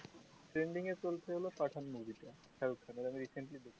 trending এ চলছে হলো pathan মুভি